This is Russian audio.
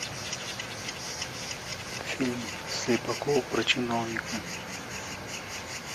фильм слепакова про чиновника